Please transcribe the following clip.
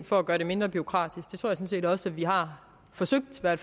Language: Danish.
for at gøre dem mindre bureaukratiske sådan set også at vi har forsøgt at